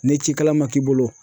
Ni cikɛla ma k'i bolo